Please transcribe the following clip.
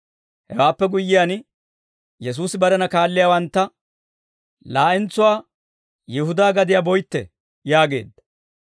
Hewaappe guyyiyaan, Yesuusi barena kaalliyaawantta «Laa'entsuwaa Yihudaa gadiyaa boytte» yaageedda.